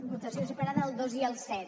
votació separada del dos i el set